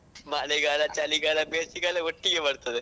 ಮಳೆಗಾಲ ಚಳಿಗಾಲ ಬೇಸಿಗೆಕಾಲ ಒಟ್ಟಿಗೆ ಬರ್ತದೆ.